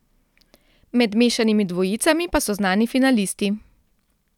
Med mešanimi dvojicami pa so znani finalisti.